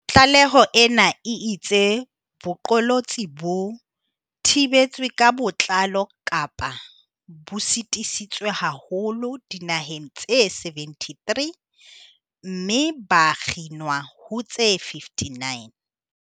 Tlaleho ena e itse boqolotsi bo "thibetswe ka botlalo kapa bo sitisitswe haholo" dinaheng tse 73, mme ba "kginwa" ho tse 59.